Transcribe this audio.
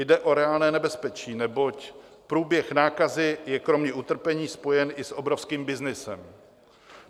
Jde o reálné nebezpečí, neboť průběh nákazy je kromě utrpení spojen i s obrovským byznysem.